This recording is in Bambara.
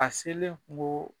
A selen